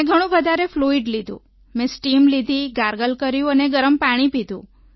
મેં ઘણું વધારે ફ્લુઇડ લીધું મેં સ્ટીમ લીધી ગાર્ગલ કર્યું અને ગરમ પાણી લીધું